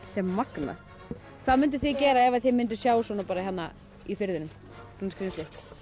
magnað hvað munduð þið gera ef þið munduð sjá svona hérna í firðinum svona skrítið